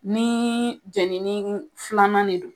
Ni jenini filanan de don